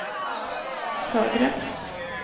högre